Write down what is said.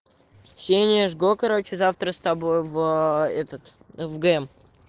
ксения жгло короче завтра с тобой в этот в гм